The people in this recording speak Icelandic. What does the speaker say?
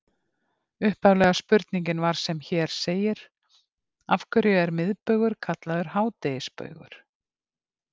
Upphaflega spurningin var sem hér segir: Af hverju er miðbaugur kallaður hádegisbaugur?